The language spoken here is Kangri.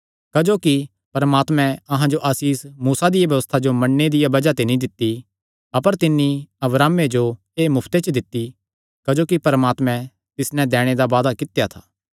क्जोकि परमात्मैं अहां जो आसीष मूसा दिया व्यबस्था जो मन्नणे दिया बज़ाह ते नीं दित्ती अपर तिन्नी अब्राहमे जो एह़ मुफ्ते च दित्ती क्जोकि परमात्मैं तिस नैं दैणे दा वादा कित्या था